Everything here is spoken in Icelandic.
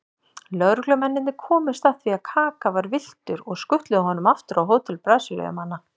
Lögreglumennirnir komust að því að Kaka var villtur og skutluðu honum aftur á hótel Brasilíumanna.